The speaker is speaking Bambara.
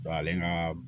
Dɔnku ale ka